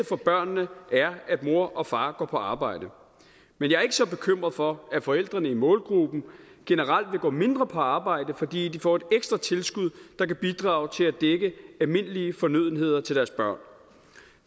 for børnene er at mor og far går på arbejde men jeg er ikke så bekymret for at forældrene i målgruppen generelt vil gå mindre på arbejde fordi de får et ekstra tilskud der kan bidrage til at dække almindelige fornødenheder til deres børn